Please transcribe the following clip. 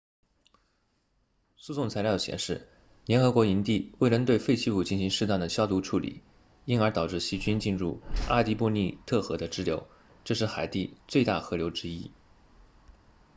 诉讼材料显示联合国营地未能对废弃物进行适当的消毒处理因而导致细菌进入阿蒂博尼特河的支流这是海地最大河流之一